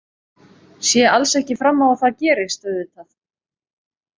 Sé alls ekki fram á að það gerist auðvitað.